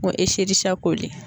N ko